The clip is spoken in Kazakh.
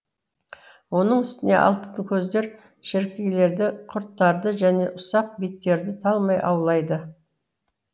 оның үстіне алтынкөздер шіркейлерді құрттарды және ұсақ биттерді талмай аулайды